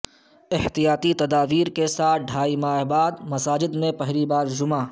احتیاطی تدابیر کے ساتھ ڈھائی ماہ بعد مساجد میں پہلی نماز جمعہ